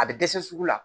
A bɛ dɛsɛ sugu la